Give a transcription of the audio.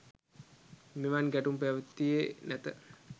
මෙවන් ගැටුම් පැවතියේ නැත.